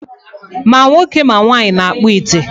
Ma nwoke ma nwaanyị na-kpụ ite